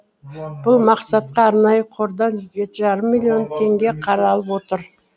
бұл мақсатқа арнайы қордан жеті жарым миллион теңге қаралып отыр